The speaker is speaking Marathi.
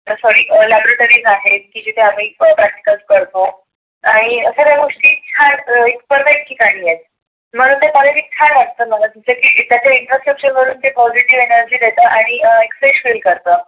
sorry अं laboratories आहेत. की जिथे आम्ही अं practicles करतो. आणि सगळ्या गोष्टी ठिकाणी आहेत, मला ते कॉलेज छान वाटतं मला त्याच्या infrastructure वर एक positive energy आणि अं fresh feel करत.